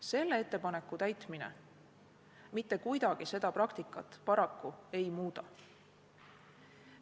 Selle ettepaneku täitmine mitte kuidagi seda praktikat paraku ei muuda.